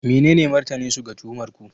Menene martaninsu ga tuhumar ku?